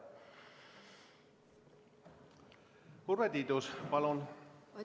Urve Tiidus, palun!